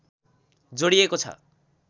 जोडिएको छ।